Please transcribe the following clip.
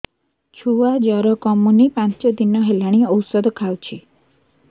ଛୁଆ ଜର କମୁନି ପାଞ୍ଚ ଦିନ ହେଲାଣି ଔଷଧ ଖାଉଛି